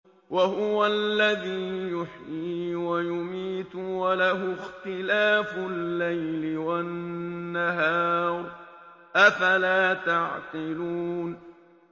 وَهُوَ الَّذِي يُحْيِي وَيُمِيتُ وَلَهُ اخْتِلَافُ اللَّيْلِ وَالنَّهَارِ ۚ أَفَلَا تَعْقِلُونَ